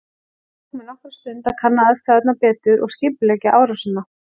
Það tók mig nokkra stund að kanna aðstæðurnar betur og skipuleggja árásina.